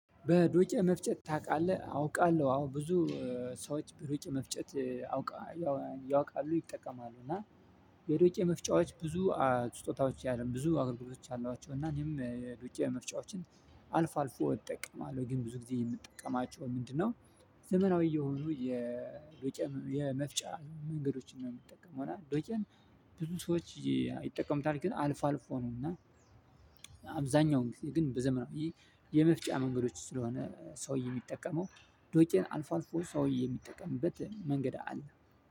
በዶጬ መፍጨት ታውቃለህ? አውቃለሁ አዎ ብዙ ሰዎች በዶጬ መፍጨት አውቃለሁ ያውቃሉ ይጠቀማሉ። እና የዶጬ መፍጫዎች ብዙ ስጦታዎች ያለም ብዙ አገልግሎቶች አሏቸው። እና እኔም የዶጬ መፍጫዎችን አልፎ አልፎ እጠቀማለሁ። ግን ብዙ ጊዜ የምጠቀማቸው ምንድነው? ዘመናዊ የሆኑ የዶቄን የመፍጫ መንገዶችን ነው የምጠቀመው። እና ዶቄን ብዙ ሰዎች ይጠቀሙታል ግን አልፎ አልፎ ነው። እና አብዛኛው ጊዜ ግን በዘመናዊ የመፍጫ መንገዶች ስለሆነ ሰውዬ የሚጠቀመው ዶጬን አልፎ አልፎ ሰውዬ የሚጠቀምበት መንገድ አለ።